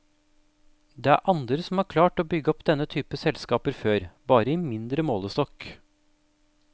Det er andre som har klart å bygge opp denne type selskaper før, bare i mindre målestokk.